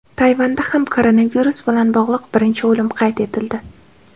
Tayvanda ham koronavirus bilan bog‘liq birinchi o‘lim qayd etildi.